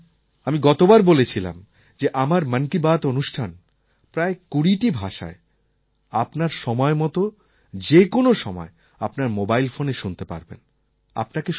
আপনারা জানেন আমি গতবার বলেছিলাম যে আমার মন কি বাত অনুষ্ঠান প্রায় ২০টি ভাষায় আপনার সময় মতো যে কোনো সময় আপনার মোবাইল ফোনে শুনতে পারবেন